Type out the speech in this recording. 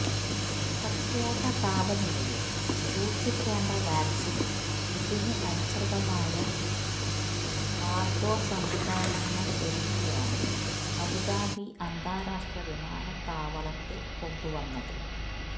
പ്രത്യേക താപനിലയില് സൂക്ഷിക്കേണ്ട വാക്സിന് ഇതിന് അനുസൃതമായ കാര്ഗോ സംവിധാനങ്ങളൊരുക്കിയാണ് അബുദാബി അന്താരാഷ്ട്ര വിമാനത്താവളത്തില്കൊണ്ടുവന്നത്